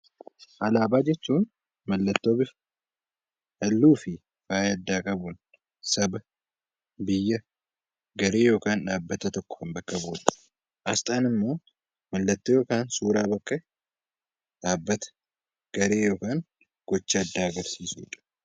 Alaabaa jechuun mallattoo bifa halluu fi Saba biyya garee yookiin dhaabbata tokko bakka bu'udha. Asxaan immoo mallattoo yookaan suuraa dhaabbata , garee yookiin gocha addaa agarsiisudha.